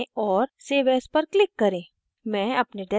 file पर जाएँ और save as पर click करें